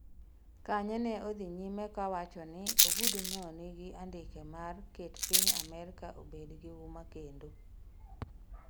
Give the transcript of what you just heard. Kanye ne odhi nyime ka wacho ni ogudu no nigi andike mar 'ket piny Amerka obed gi huma kendo'